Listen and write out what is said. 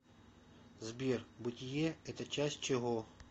сбер бытие это часть чего